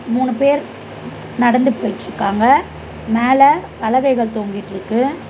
மூணு பேர் நடந்து போயிட்ருக்காங்க மேல பலகைகள் தொங்கிட்ருக்கு.